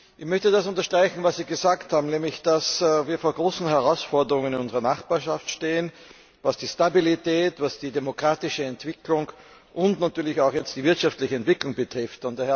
Ich möchte unterstreichen, was Sie gesagt haben, nämlich dass wir vor großen Herausforderungen in unserer Nachbarschaft stehen, was die Stabilität, die demokratische Entwicklung und jetzt natürlich auch die wirtschaftliche Entwicklung betrifft.